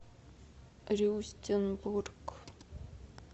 рюстенбург